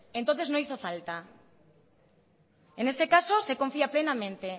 entonces no hizo falta en ese caso se confía plenamente